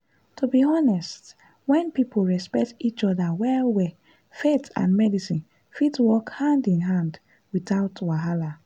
to be honest when people respect each other well-well faith and medicine fit work hand in hand without wahala.